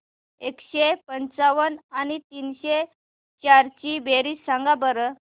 एकशे पंच्याण्णव आणि तीनशे चार ची बेरीज सांगा बरं